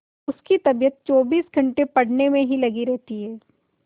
उसकी तबीयत चौबीस घंटे पढ़ने में ही लगी रहती है